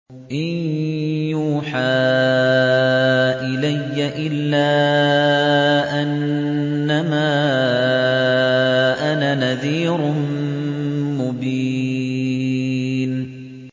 إِن يُوحَىٰ إِلَيَّ إِلَّا أَنَّمَا أَنَا نَذِيرٌ مُّبِينٌ